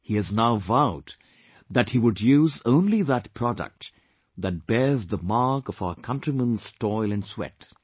He has now vowed that he would use only that product that bears the mark of our countrymen's toil and sweat